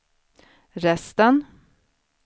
resten